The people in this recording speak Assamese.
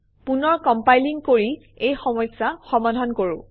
পুনৰ কমপাইলিং কৰি এই সমস্যা সমাধান কৰোঁ